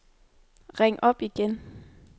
ring op igen